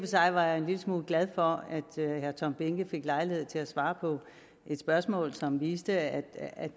sig var jeg en lille smule glad for at herre tom behnke fik lejlighed til at svare på et spørgsmål som viste at